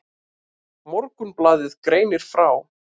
Morgunblaðið greinir frá.